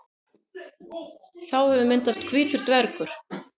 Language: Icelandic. Þá hefur myndast hvítur dvergur.